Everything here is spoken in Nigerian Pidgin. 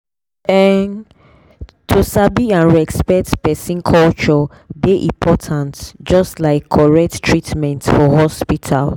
ehn to sabi and respect person culture dey important just like correct treatment for hospital.